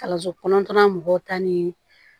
Kalanso kɔnɔtanya mɔgɔw ta ni